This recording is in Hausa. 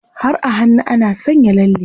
Har a hannu ana sanya lalle.